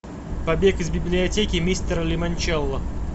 побег из библиотеки мистера лимончелло